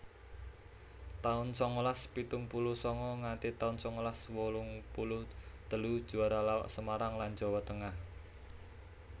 taun sangalas pitung puluh sanga nganti taun sangalas wolung puluh telu Juara lawak Semarang lan Jawa Tengah